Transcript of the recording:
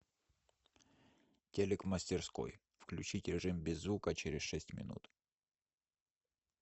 телек в мастерской включить режим без звука через шесть минут